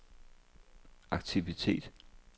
aktivitet